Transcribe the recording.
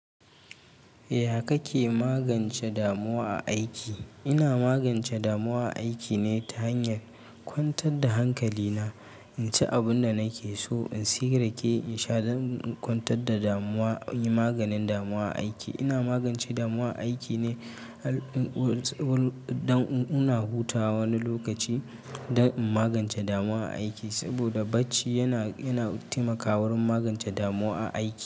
Ya kake magance damuwa a aiki? Ina magance damuwa a aiki ne ta hanyar kwantar da hankali na, inci abin da nake so in sayi rake in sha dan in kwantar da damuwa, inyi maganin damuwa aiki. Ina magance damuwa a aiki ne, dan ina hutawa wani lokaci dan in magance damuwa a aiki. Saboda bacci yana, yana taimakawa gurin magance damuwa a aiki.